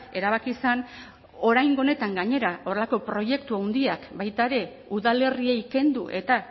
erabaki zen oraingo honetan gainera horrelako proiektu handiak baita ere udalerriei kendu eta